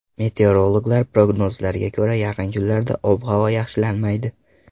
Meteorologlar prognozlariga ko‘ra, yaqin kunlarda ob-havo yaxshilanmaydi.